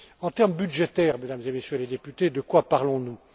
En termes budgétaires, Mesdames et Messieurs les députés, de quoi parlons nous?